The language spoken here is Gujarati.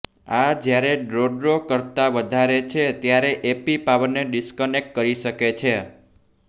આ જ્યારે ડ્રો ડ્રો કરતાં વધારે છે ત્યારે એપી પાવરને ડિસ્કનેક્ટ કરી શકે છે